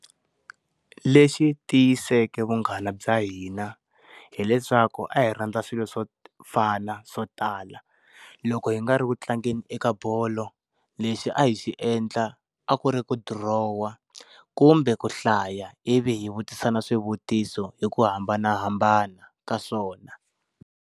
Lexi tiyiseke vunghana bya hina, hileswaku a hi rhandza swilo swo fana swo tala. Loko hi nga ri ku tlangeni eka bolo, lexi a hi xi endla a ku ri ku dirohwa, kumbe ku hlaya ivi hi vutisana swivutiso hi ku hambanahambana ka swona.